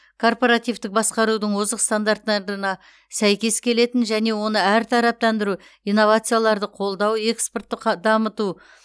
корпоративтік басқарудың озық стандарттарына сәйкес келетін және оны әртараптандыру инновацияларды қолдау экспортты қ дамыту